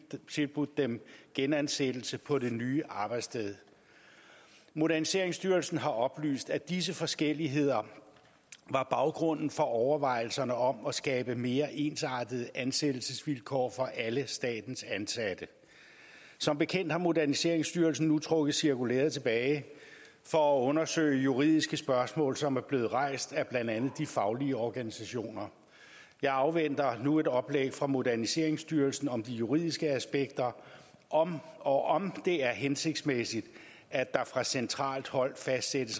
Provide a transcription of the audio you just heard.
tilbudt dem genansættelse på det nye arbejdssted moderniseringsstyrelsen har oplyst at disse forskelligheder var baggrunden for overvejelserne om at skabe mere ensartede ansættelsesvilkår for alle statens ansatte som bekendt har moderniseringsstyrelsen nu trukket cirkulæret tilbage for at undersøge juridiske spørgsmål som er blevet rejst af blandt andet de faglige organisationer jeg afventer nu et oplæg fra moderniseringsstyrelsen om de juridiske aspekter og og om det er hensigtsmæssigt at der fra centralt hold fastsættes